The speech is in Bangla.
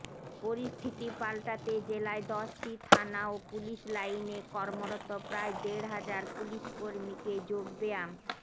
পরিস্থিতি পাল্টাতে জেলায় দশটি থানা ও পুলিশ লাইনে কর্মরত প্রায় দেড় হাজার পুলিশকর্মীকে যোগব্যায়াম